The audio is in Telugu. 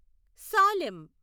సాలెం